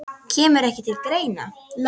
Kemur ekki til greina